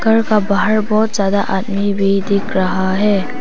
घर का बाहर बहुत ज्यादा आदमी भी दिख रहा है।